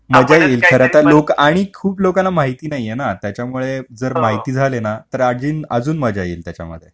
मजा येईल खरंच खूप लोकांना माहिती नाही मला आणि जर माहिती झाले तर आहे मजा येईल त्याच्यामध्ये